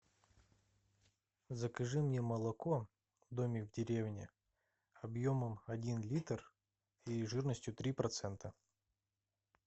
закажи мне молоко домик в деревне объемом один литр и жирностью три процента